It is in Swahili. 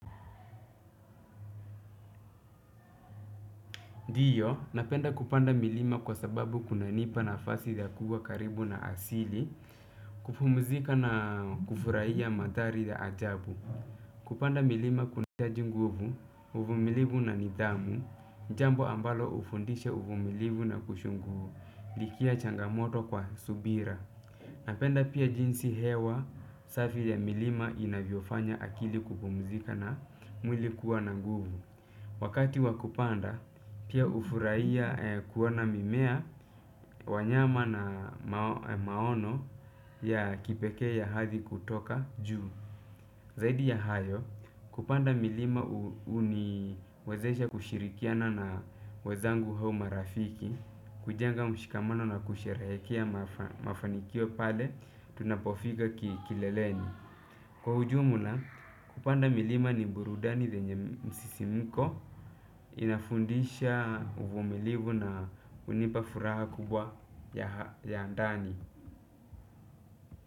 Ndiyo, napenda kupanda milima kwa sababu kunanipa nafasi ya kuwa karibu na asili, kupumzika na kufurahia mandhari ya ajabu. Kupanda milima kunahitaji nguvu, uvumilivu na nidhamu, jambo ambalo hufundisha uvumilivu na kushughulikia changamoto kwa subira. Napenda pia jinsi hewa safi ya milima inavyofanya akili kupumuzika na mwili kuwa na nguvu. Wakati wa kupanda pia hufurahia kuona mimea, wanyama na maono ya kipekee ya hadhi kutoka juu. Zaidi ya hayo, kupanda milima huniwezesha kushirikiana na wazangu au marafiki, kujenga mshikamano na kusherehekea mafanikio pale, tunapofika kileleni. Kwa ujumla kupanda milima ni burudani lenye msisimuko inafundisha uvumilivu na hunipa furaha kubwa ya ndani.